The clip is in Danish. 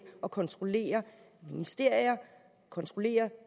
at kontrollere ministerier kontrollere